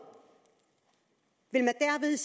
vil